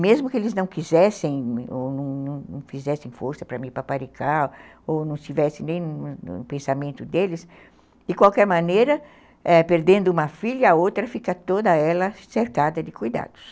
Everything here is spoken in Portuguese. Mesmo que eles não quisessem ou não não fizessem força para me paparicar, ou não tivessem nem no pensamento deles, de qualquer maneira, eh, perdendo uma filha, a outra fica toda ela cercada de cuidados.